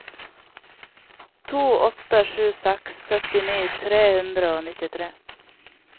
to åtte sju seks syttini tre hundre og nittitre